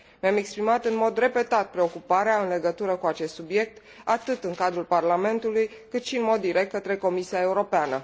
Mi am exprimat în mod repetat preocuparea în legătură cu acest subiect, atât în cadrul Parlamentului cât și în mod direct către Comisia Europeană.